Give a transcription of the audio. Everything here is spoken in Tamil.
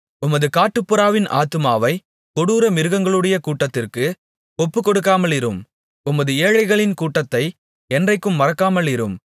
உமது காட்டுப்புறாவின் ஆத்துமாவை கொடூர மிருகங்களுடைய கூட்டத்திற்கு ஒப்புக்கொடுக்காமலிரும் உமது ஏழைகளின் கூட்டத்தை என்றைக்கும் மறக்காமலிரும்